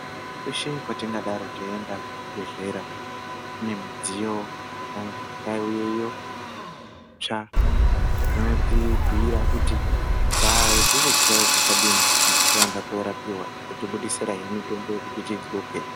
Kweshe kwatingadaro teienda kuzvibhedhlera kune midziyo yakange yakauyeyo itsva iyo inotibhiira kuti tikuzwe zvakadini kana taenda korapiwa yotibudisirahe mitombo yekuti tidxoke.